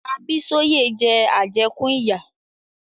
Abísóyẹ̀ jẹ àjẹ́kún ìyà.